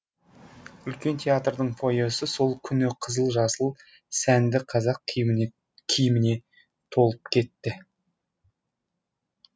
үлкен театрдың фойесі сол күні қызыл жасыл сәнді қазақ киіміне толып кетті